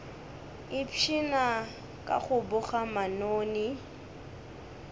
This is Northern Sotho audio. ipshina ka go boga manoni